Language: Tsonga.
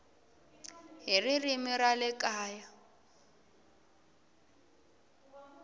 hi ririmi ra le kaya